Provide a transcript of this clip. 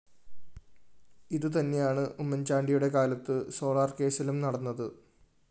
ഇതുതന്നെയാണ് ഉമ്മൻചാണ്ടിയുടെ കാലത്ത് സോളാർകേസ്സിലും നടന്നത്